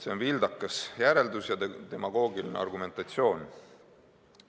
See on vildakas järeldus ja demagoogiline argumentatsioon.